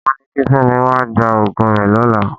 Wọ́n ni kí Fẹ́mi wá gba òògùn rẹ lọ́la.